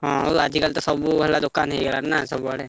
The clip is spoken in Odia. ହଁ ଆଉ ଆଜିକାଲି ତ ସବୁ ହେଲା ଦୋକାନ ହେଇଗଲାଣି ନା ସବୁଆଡେ।